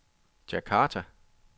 Djakarta